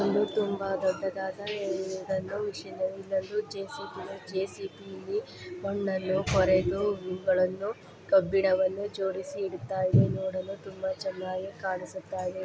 ಇದೊಂದು ತುಂಬಾ ದೊಡ್ಡ ದಾದಾ ಮಷೀನ್ ಇಲ್ಲೊಂಡು ಜೆಸಿಬಿ ಯ ಜೆಸಿಬಿ ಮಣ್ಣನು ಕೊರೆದು ಇವಗಳ್ಳನ್ನು ಕಬ್ಬಿಣ ವನ್ನು ಜೋಡಿಸಿ ಇಡುತಾಯಿದೆ. ನೋಡಲು ತುಂಬಾ ಚೆನ್ನಾಗಿ ಕಬಿಸುತ್ತ ಇದೆ .